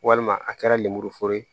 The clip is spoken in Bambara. Walima a kɛra lemuru foro ye